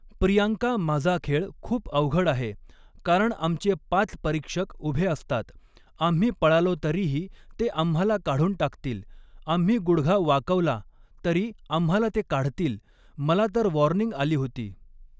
प्रियांका माझा खेळ खूप अवघड आहे, कारण आमचे पाच परीक्षक उभे असतात, आम्ही पळालो तरीही ते आम्हाला काढून टाकतील, आम्ही गुढघा वाकवला तरी आम्हाला ते काढतील, मला तर वॉर्निंग आली होती.